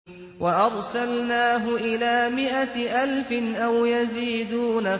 وَأَرْسَلْنَاهُ إِلَىٰ مِائَةِ أَلْفٍ أَوْ يَزِيدُونَ